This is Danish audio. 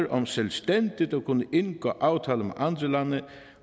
om selvstændigt at kunne indgå aftaler